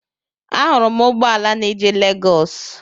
Ahụrụ m ụgbọala na-eje Legọs.